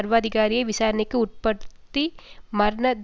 விசாரணைக்கு உட்படுத்தி மரண தண்டனை கொடுத்த நிகழ்வாகும்